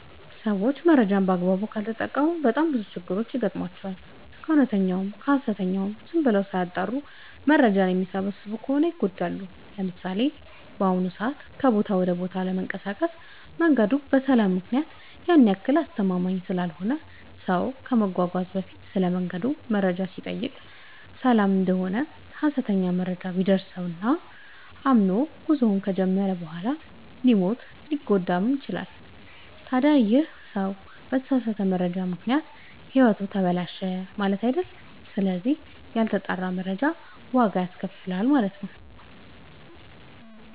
ሰዎች መረጃን በአግባቡ ካልተጠቀሙ በጣም ብዙ ችግሮች ይገጥሟቸዋል። ከእውነተኛውም ከሀሰተኛውም ዝም ብለው ሳያጠሩ መረጃ የሚሰበስቡ ከሆነ ይጎዳሉ። ለምሳሌ፦ በአሁኑ ሰዓት ከቦታ ወደ ቦታ ለመንቀሳቀስ መንገዱ በሰላም ምክንያት ያን ያክል አስተማመምኝ ስላልሆነ ሰው ከመጓዙ በፊት ስለመንገዱ መረጃ ሲጠይቅ ሰላም እደሆነ ሀሰተኛ መረጃ ቢደርሰው እና አምኖ ጉዞውን ከጀመረ በኋላ ሊሞትም ሊታገትም ይችላል። ታዲ ይህ ሰው በተሳሳተ መረጃ ምክንያት ህይወቱ ተበላሸ ማለት አይደል ስለዚህ ያልተጣራ መረጃ ዋጋ ያስከፍላል።